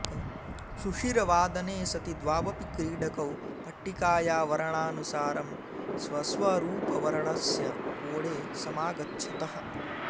शुषिरवादने सति द्वावपि क्रीडकौ पट्टिकाया वर्णानुसारं स्वस्वरुपवर्णस्य कोणे समागच्छतः